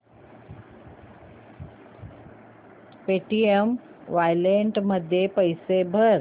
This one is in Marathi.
पेटीएम वॉलेट मध्ये पैसे भर